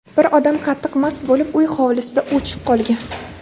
Bir odam qattiq mast bo‘lib uy hovlisida ‘o‘chib’ qolgan.